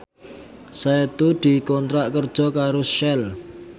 Setu dikontrak kerja karo Shell